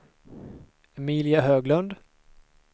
Emilia Höglund